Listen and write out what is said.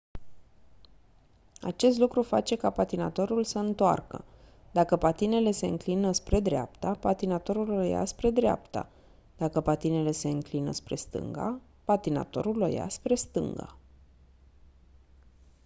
acest lucru face ca patinatorul să întoarcă dacă patinele se înclină spre dreapta patinatorul o ia spre dreapta dacă patinele se înclină spre stânga patinatorul o ia spre stânga